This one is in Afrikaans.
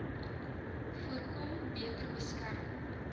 voorkom beter beskerm